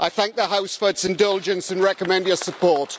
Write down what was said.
I thank the House for its indulgence and recommend your support.